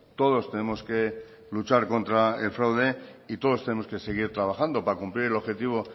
todos tenemos que luchar contra el fraude y todos tenemos que seguir trabajando para cumplir el objetivo